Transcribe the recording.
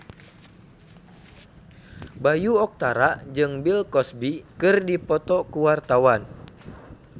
Bayu Octara jeung Bill Cosby keur dipoto ku wartawan